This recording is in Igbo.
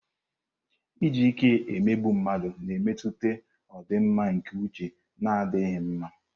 Iji ike emegbu mmadụ na-emetụta ọdịmma nke uche na-adịghị mma.